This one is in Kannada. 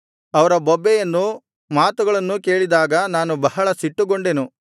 ಅವರ ಬೊಬ್ಬೆಯನ್ನೂ ಮಾತುಗಳನ್ನೂ ಕೇಳಿದಾಗ ನಾನು ಬಹಳ ಸಿಟ್ಟುಗೊಂಡೆನು